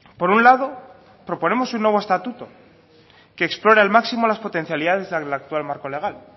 por un lado proponemos un nuevo estatuto que explora el máximo las potencialidades del actual marco legal